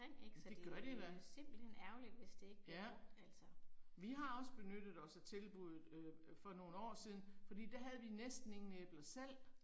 Det gør de da. Ja. Vi har også benyttet os af tilbuddet øh for nogle år siden, fordi der havde vi næsten ingen æbler selv